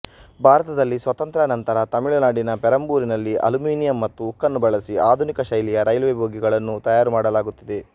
ಭಾರತದಲ್ಲಿ ಸ್ವಾತಂತ್ರ್ಯಾನಂತರ ತಮಿಳುನಾಡಿನ ಪೆರಂಬೂರಿನಲ್ಲಿ ಅಲ್ಯುಮಿನಿಯಮ್ ಮತ್ತು ಉಕ್ಕನ್ನು ಬಳಸಿ ಆಧುನಿಕಶೈಲಿಯ ರೈಲ್ವೆಬೋಗಿಗಳನ್ನು ತಯಾರುಮಾಡಲಾಗುತ್ತಿದೆ